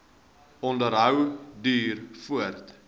onderhou duur voort